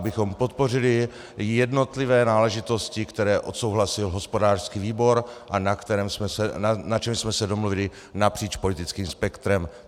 Abychom podpořili jednotlivé náležitosti, které odsouhlasil hospodářský výbor a na čem jsme se domluvili napříč politickým spektrem.